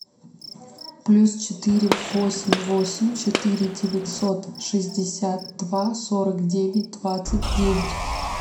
плюс четыре восемь восемь четыре девятьсот шестьдесят два сорок девять двадцать девять